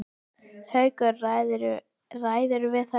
Haukur: Ræðirðu við þetta?